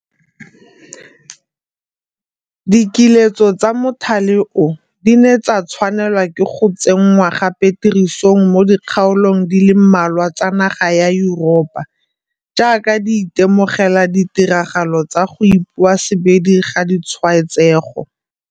Dikiletso tsa mothale o di ne tsa tshwanelwa ke go tse nngwa gape tirisong mo di kgaolong di le mmalwa tsa naga ya Yuropa jaaka di ite mogela ditiragalo tsa go ipoasebedi ga ditshwaetsego.